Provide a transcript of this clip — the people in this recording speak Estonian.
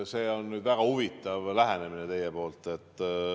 See on väga huvitav lähenemine teil.